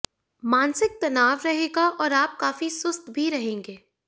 मानसिक तनाव रहेगा और आप काफी सुस्त भी रहेंगे